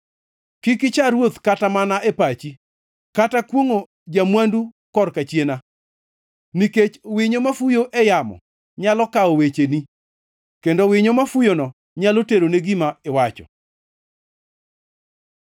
Kik icha ruoth kata mana e pachi, kata kwongʼo ja-mwandu kor kachiena, nikech winyo mafuyo e yamo nyalo kawo wecheni, kendo winyo ma fuyono nyalo terone gima iwacho.